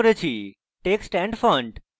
text and font